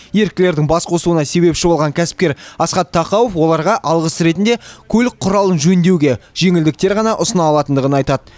еріктілердің бас қосуына себепші болған кәсіпкер асхат тақауов оларға алғыс ретінде көлік құралын жөндеуге жеңілдіктер ғана ұсына алатындығын айтады